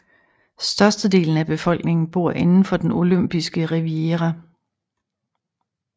Størstedelen af befolkningen bor inden for den olympiske riviera